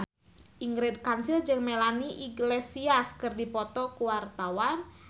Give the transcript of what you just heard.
Ingrid Kansil jeung Melanie Iglesias keur dipoto ku wartawan